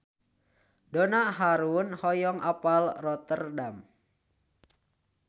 Donna Harun hoyong apal Rotterdam